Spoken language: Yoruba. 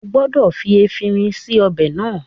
O gbọdọ̀ fi efinrin sí ọbẹ̀ náà